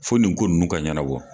Fo nin ko ninnu ka ɲɛnabɔ.